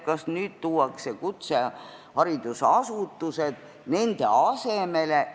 Kas nüüd tuuakse kutseharidusasutused nende asemele?